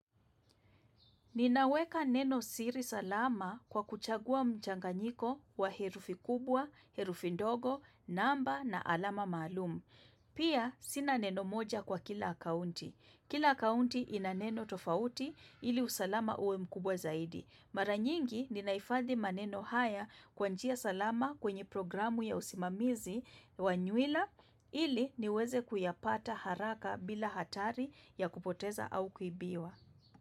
Ninaweka neno siri salama kwa kuchagua mchanganyiko wa herufi kubwa, herufi ndogo, namba na alama maalum. Pia sina neno moja kwa kila kaunti. Kila akaunti inaneno tofauti ili usalama uwe mkubwa zaidi. Maranyingi ninahifadhi maneno haya kwanjia salama kwenye programu ya usimamizi wa nywila ili niweze kuyapata haraka bila hatari ya kupoteza au kuibiwa.